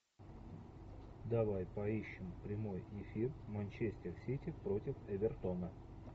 давай поищем прямой эфир манчестер сити против эвертона